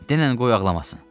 Denən qoy ağlamasın.